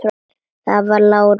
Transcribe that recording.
Það var Lárus.